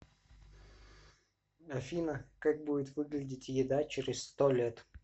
афина как будет выглядеть еда через сто лет